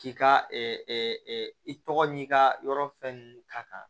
K'i ka i tɔgɔ n'i ka yɔrɔ fɛn